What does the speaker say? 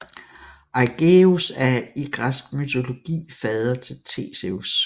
Aigeus er i græsk mytologi fader til Theseus